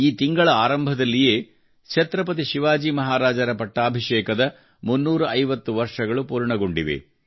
ಈ ತಿಂಗಳ ಆರಂಭದಲ್ಲಿಯೇ ಛತ್ರಪತಿ ಶಿವಾಜಿ ಮಹಾರಾಜರ ಪಟ್ಟಾಭಿಷೇಕದ 350 ವರ್ಷಗಳು ಪೂರ್ಣಗೊಂಡಿವೆ